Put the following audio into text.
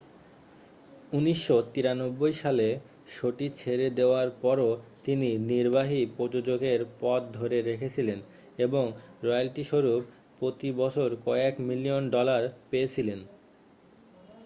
1993 সালে শোটি ছেড়ে দেওয়ার পরেও তিনি নির্বাহী প্রযোজকের পদ ধরে রেখেছিলেন এবং রয়্যালটিস্বরূপ প্রতি বছর কয়েক মিলিয়ন ডলার পেয়েছিলেন